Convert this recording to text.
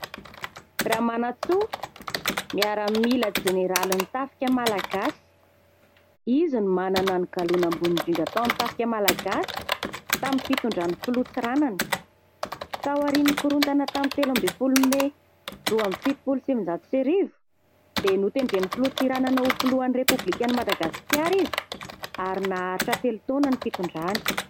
Ramanantsoa miaramila jeneralin'ny tafika Malagasy, izy no manana ny galoana ambony indrindra tao amin'ny tafika malagasy tamin'ny fitondran'ny filoha Tsiranana. Tao aorian'ny korontana tamin'ny telo ambin'ny folo Mey roa amby fitopolo sy sivinjato sy arivo dia notendren'ny filoha Tsiranana ho filohan'i Repoblikan'i Madagasikara izy, ary naharitra telo taona ny fitondrany.